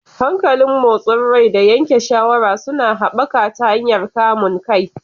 Hankalin motsin rai da yanke shawara suna haɓaka ta hanyar kamun kai.